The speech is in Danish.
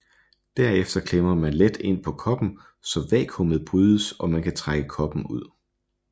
Derefter klemmer man let ind på koppen så vakuumet brydes og man kan trække koppen ud